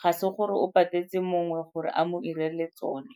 ga se gore o patetse mongwe gore a mo 'irele tsone.